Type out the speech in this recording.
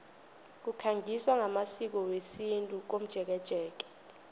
kukhangiswa ngamasiko wesintu komjekejeke